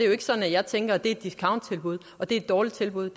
jo ikke sådan at jeg tænker at det er et discounttilbud at det er et dårligt tilbud